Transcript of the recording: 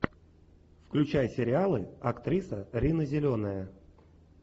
включай сериалы актриса рина зеленая